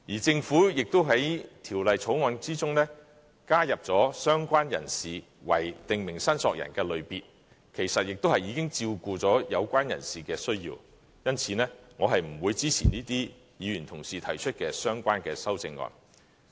政府亦在《條例草案》中加入"相關人士"為"訂明申索人"的類別，其實已經照顧了有關人士的需要，因此我不會支持這些議員同事提出的相關修正案。